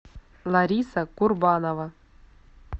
лариса курбанова